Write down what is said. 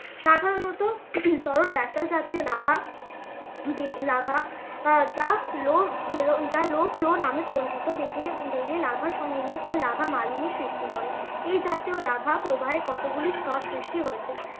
সাধারণত তরল জাতীয় লাভা লাভা আহ যা যা low flow নামে পরিচিত। বেরিয়ে, বেরিয়ে লাভা সমভূমি ও লাভা মালভূমির সৃষ্টি করে এই জাতীয় লাভা প্রবাহে কতগুলি স্তর সৃষ্টি হয়েছে।